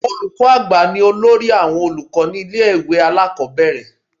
Olùkọ́ àgbà ni olórí àwọn olùkọ́ ní ilé ìwé alákọ̀ọ́bẹ̀rẹ̀